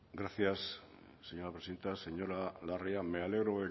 gracias señora presidenta señora larrea me alegro